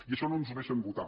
i això no ens ho deixen votar